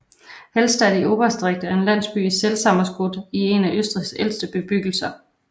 Hallstatt i Oberösterreich er en landsby i Salzkammergut og en af Østrigs ældste bebyggelser